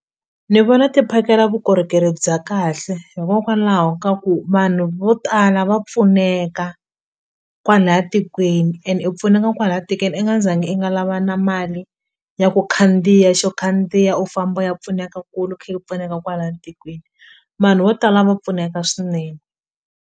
Ni vona ti phakela vukorhokeri bya kahle hikokwalaho ka ku vanhu vo tala va pfuneka kwalaya tikweni ene i pfuneka kwala i nga zangi i nga lava na mali ya ku khandziya xo khandziya u famba u ya pfuneka kule u khe u pfuneka kwala tikweni vanhu vo tala va pfuneka swinene.